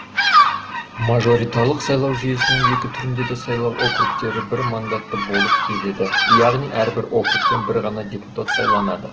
мажоритарлық сайлау жүйесінің екі түрінде де сайлау округтері бір мандатты болып келеді яғни әрбір округтен бір ғана депутат сайланады